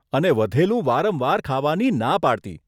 અને વધેલું વારંવાર ખાવાની ના પાડતી.